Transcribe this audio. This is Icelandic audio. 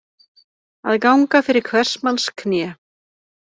Að ganga fyrir hvers manns kné